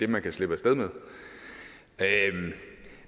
man kan slippe af sted med